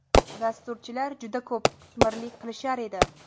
Dasturchilar juda ko‘p qitmirlik qilishar edi.